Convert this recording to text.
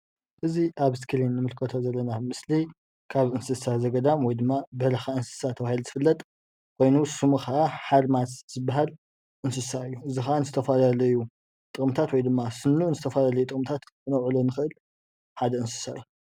እዚ አብ እስክሪን እንምልከቶ ዘለና ምስሊ ካብ እንስሳ ዘገዳም ወይ ድማ በረካ ኣንስሳ ተባሂሉ ዝፍለጥ ኮይኑ ስሙ ከዓ ሓርማዝ ዝባሃል እንስሳ እዩ። እዚ ከዓ ንዝተፋላለዩ ጥቅምታት ወይድማ ስኑ ንዝተፋላለዩ ጥቅምታት ክነውዕሎ ንክእል ሓደ እንስሳ እዩ።